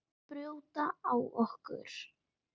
Ekki brjóta á okkur.